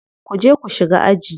Ku je ku shiga aji.